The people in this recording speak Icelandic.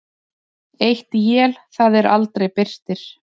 Eitt él það er aldrei birtir.